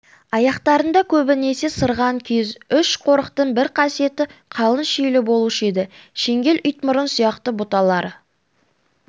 аяқтарында көбінесе сырған киіз үш қорықтың бір қасиеті қалың шилі болушы еді шеңгел итмұрын сияқты бұталары